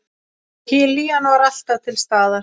Hlýjan var alltaf til staðar.